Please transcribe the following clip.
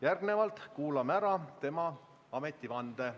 Järgnevalt kuulame ära tema ametivande.